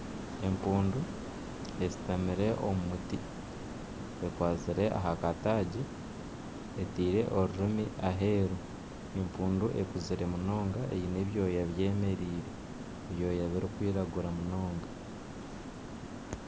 Empundu eshutamire omu muti ekwasire aha kataagi eteire orurimu aheru. Empundu ekuzire munonga eine ebyooya byemereire. Ebyooya biri kwiragura munonga.